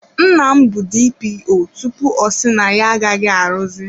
Nna m bụ DPO tupu ọ si na ya agaghị arụzi.